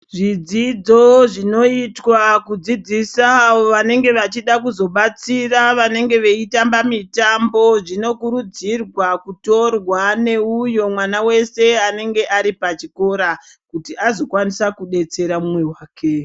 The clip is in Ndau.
Zvidzidzo zvinoitwa kudzidzisa avo vanenge vachida kuzobatsira vanenge veitamba mitambo zvinokurudzirwa kutorwa neuyo mwana wese anenge ari pachikora kuti azokwanisa kudetsera mumwe wake.